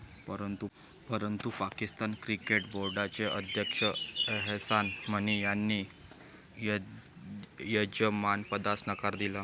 परंतु पाकिस्तान क्रिकेट बोर्डाचे अध्यक्ष एहसान मणी यांनी यजमानपदास नकार दिला.